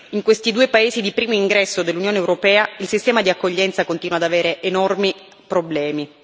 In questi due paesi di primo ingresso dell'Unione europea, il sistema di accoglienza continua ad avere enormi problemi.